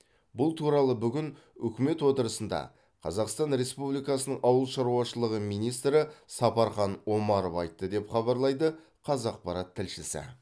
бұл туралы бүгін үкімет отырысында қазақстан республикасының ауыл шаруашылығы министрі сапархан омаров айтты деп хабарлайды қазақпарат тілшісі